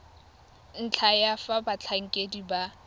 ntlha ya fa batlhankedi ba